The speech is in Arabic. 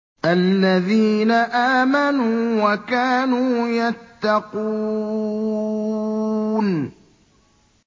الَّذِينَ آمَنُوا وَكَانُوا يَتَّقُونَ